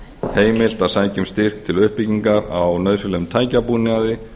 heimilt að sækja um styrk til uppbyggingar á nauðsynlegum tækjabúnaði